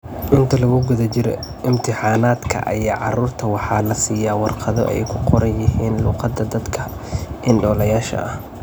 Inta lagu guda jiro imtixaanaadka ayaa carruurta waxaa la siiyay waarqado ay ku qoran yihiin luqadda dadka indhoolayaasha ah.